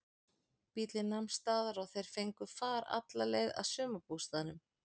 Bíllinn nam staðar og þeir fengu far alla leið að sumarbústaðnum.